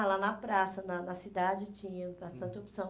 Ah, lá na praça, na na cidade, tinha bastante opção.